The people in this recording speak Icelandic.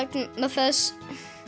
þess